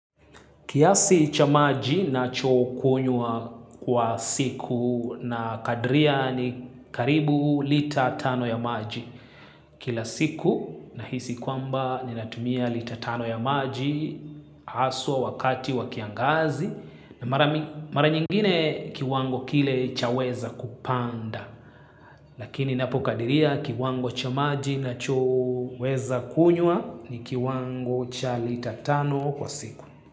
Kiasi cha maji nachokunywa kwa siku na kadria ni karibu lita tano ya maji. Kila siku nahisi kwamba ninatumia lita tano ya maji haswa wakati wa kiangazi na mara nyingine kiwango kile chaweza kupanda. Lakini napokadiria kiwango cha maji nachoweza kunywa ni kiwango cha lita tano kwa siku.